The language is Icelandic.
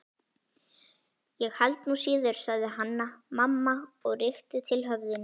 Ég held nú síður, sagði Hanna-Mamma og rykkti til höfðinu